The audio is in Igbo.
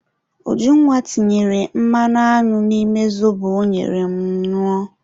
Ujunwa tinyere mmanụ aṅụ n'ime zobo ọ nyere m ñụọ